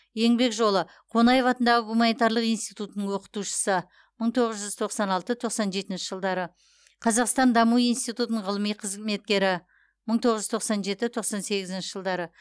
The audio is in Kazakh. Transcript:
еңбек жолы д а қонаев атындағы гуманитарлық институттың оқытушысы мың тоғыз жүз тоқсан алты тоқсан жетінші жылдары қазақстан даму институтының ғылыми қызметкері мың тоғыз жүз тоқсан жеті тоқсан сегізінші жылдары